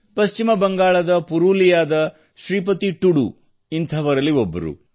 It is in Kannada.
ಪಶ್ಚಿಮ ಬಂಗಾಳದ ಪುರುಲಿಯಾದ ಶ್ರೀಪತಿ ಟುಡು ಅವರು ಇಂಥವರಲ್ಲಿ ಒಬ್ಬರು